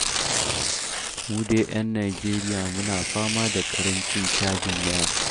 Mu dai 'yan Najeriya muna fama da ƙarancin cajin waya.